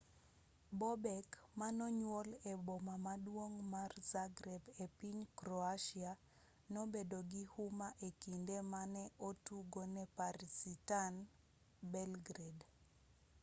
bobek manonyuol e boma maduong' mar zagreb e piny croatia nobedo gi huma e kinde mane otugo ne partizan belgrade